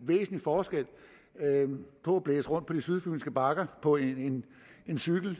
væsentlig forskel på at blæse rundt på de sydfynske bakker på en cykel